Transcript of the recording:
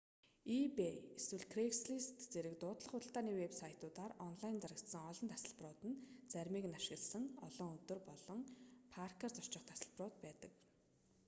ebay эсвэл craigslist зэрэг дуудлага худалдааны вэб сайтуудаар онлайн зарагдсан олон тасалбарууд нь заримыг нь ашигласан олон өдөр олон паркаар зорчих тасалбарууд байдаг